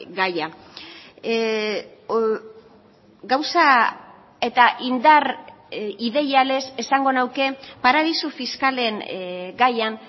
gaia gauza eta indar ideialez esango nuke paradisu fiskalen gaian